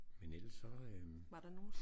Men ellers så øh